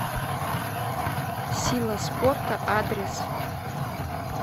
сила спорта адрес